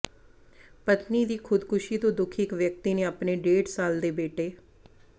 ਪਤਨੀ ਦੀ ਖ਼ੁਦਕੁਸ਼ੀ ਤੋਂ ਦੁਖੀ ਇਕ ਵਿਅਕਤੀ ਨੇ ਅਪਣੇ ਡੇਢ ਸਾਲ ਦੇ ਬੇਟੇ